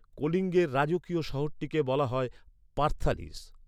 কলিঙ্গের রাজকীয় শহরটিকে বলা হয় পার্থালিস।